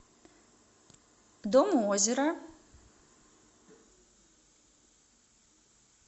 дом у озера